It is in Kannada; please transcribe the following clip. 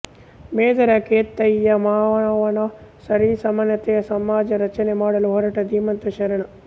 ಮೇದರ ಕೇತಯ್ಯ ಮಾನವ ಸರಿಸಮಾನತೆಯ ಸಮಾಜ ರಚನೆ ಮಾಡಲು ಹೊರಟ ಧೀಮಂತ ಶರಣ